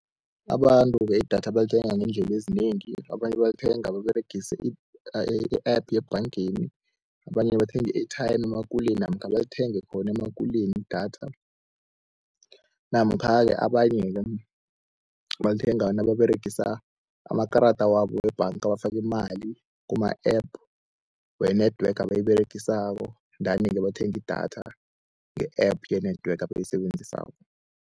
Abantu-ke idatha balithenga ngeendlela ezinengi, abanye balithenga baberegise i-app yebhangeni, abanye bathenga i-airtime emakuleni namkha balithenge khona emakuleni idatha. Namkha-ke abanye-ke balithenga nababeregisa amakarada wabo webhanga, bafaka imali kuma-app we-network abayiberegisako, danike bathenge idatha nge-app ye-network abayisebenzisako.